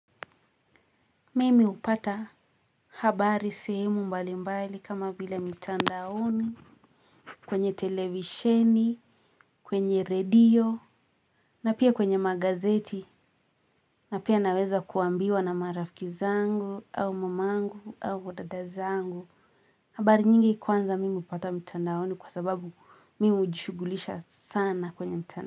Mimi hupata habari sehemu mbali mbali kama vile mitandaoni kwenye televisheni kwenye radio na pia kwenye magazeti na pia naweza kuambiwa na marafiki zangu au mamangu au wadada zangu. Habari nyingi kwanza mimi hupata mitandaoni kwa sababu mimi hujishughulisha sana kwenye mitandao.